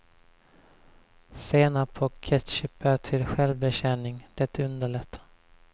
Senap och ketchup är till självbetjäning, det underlättar.